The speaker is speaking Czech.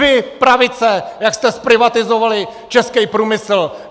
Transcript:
Vy, pravice, jak jste zprivatizovali českej průmysl!